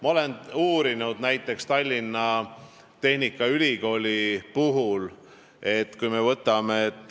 Ma olen uurinud näiteks Tallinna Tehnikaülikooli olukorda.